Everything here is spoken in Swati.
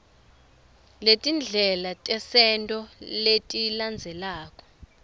letindlela tesento letilandzelako